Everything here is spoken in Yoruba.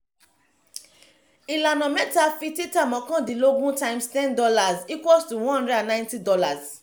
ìlànà mẹ́ta fi títà mọ́kàndínlógún times ten dollars equals to one hundred and ninety dollars